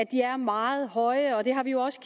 de er meget høje og vi har jo også